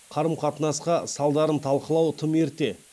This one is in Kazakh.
қарым қатынасқа салдарын талқылау тым ерте